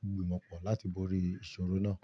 gbimo mápọ̀ láti borí ìṣòro náà.